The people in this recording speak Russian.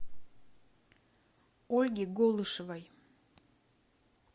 ольге голышевой